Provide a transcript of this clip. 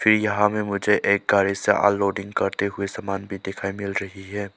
ये यहां में मुझे एक गाड़ी से अनलोडिंग करते हुए सामान भी दिखाई मिल रही है।